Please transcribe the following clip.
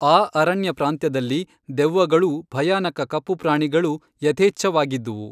ಆ ಅರಣ್ಯಪ್ರಾಂತ್ಯದಲ್ಲಿ ದೆವ್ವಗಳೂ ಭಯಾನಕ ಕಪ್ಪು ಪ್ರಾಣಿಗಳೂ ಯಥೇಚ್ಛ ವಾಗಿದ್ದುವು